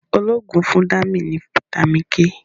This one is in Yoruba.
olóògùn fún Dami ní vitamin k.